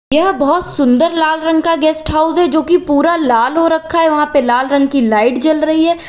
यह बहुत सुंदर लाल रंग का गेस्ट हाउस है जो कि पूरा लाल हो रखा है वहां पर लाल रंग की लाइट जल रही है।